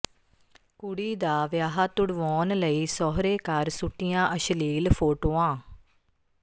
ਕੁੜੀ ਦਾ ਵਿਆਹ ਤੁੜਵਾਉਣ ਲਈ ਸਹੁਰੇ ਘਰ ਸੁੱਟੀਆਂ ਅਸ਼ਲੀਲ ਫੋਟੋਆਂ